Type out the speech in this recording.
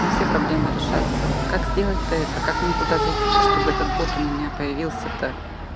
и все проблемы решатся как сделать то это как мне куда зайти то чтобы этот бот у меня появился то